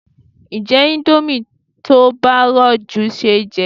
Ǹjé indomie tí ó bá rọ̀ jù ṣeéjẹ?